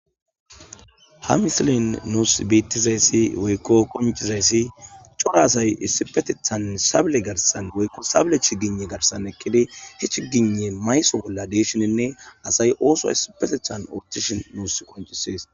Ha misilin nuus biittizayssi woykko konchizayssi cora asay issipetethan sable garsan woykko sable chigine garsan ekkidi he chigine mayso bolla deeshininne asay ooso issipetethan ootishin nuus konchisees